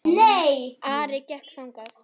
Ari gekk þangað.